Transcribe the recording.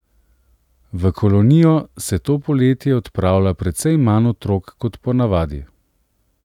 V kolonijo se to poletje odpravlja precej manj otrok kot ponavadi.